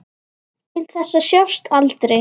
Til þess að sjást aldrei.